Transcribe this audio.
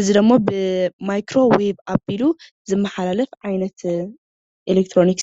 እዚ ዶሞ ብማይክሮ ዌቭ ኣቢሉ ዝመሓላለፍ ዓይነት ኤሌክትሮኒክስ እዩ።